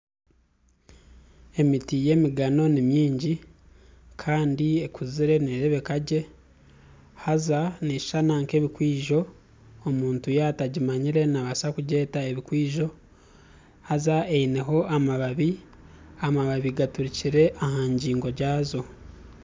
Emiti y'emigano ni mingi kandi ekuzire neerebeka gye haza neeshushana nk'ebikwijo, omuntu yaaba atagimanyire naabaasa kugyeta ebikwijo haza eineho amababi, amababi gaturukire aha ngingo zaago